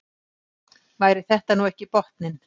Væri þetta nú ekki botninn?